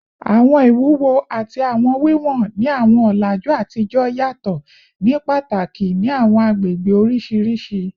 Awọn iwuwo ati awọn wiwọn ni awọn ọlaju atijọ yatọ ni pataki ni awọn agbegbe oriṣiriṣi